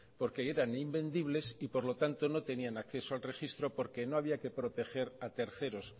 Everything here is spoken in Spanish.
porque eran invendibles y por lo tanto no tenían acceso al registro porque no había que proteger a terceros